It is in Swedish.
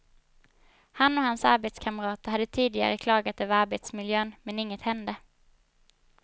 Han och hans arbetskamrater hade tidigare klagat över arbetsmiljön, men inget hände.